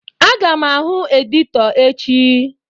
Aga m ahụ editọ echi.